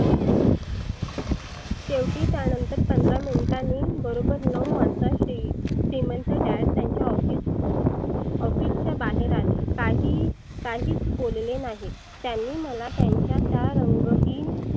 शेवटी त्यानंतर पंधरा minute टानी बरोबर नऊ वाजता शी श्रिमंत Dad त्याच्या office office च्या बाहेर आले. काही काहीच बोलले नाही. त्यांनी मला त्याच्या त्या रंगहीन